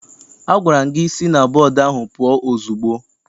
Agwara m gị si na bọọdụ ahụ pụọ ozugbo!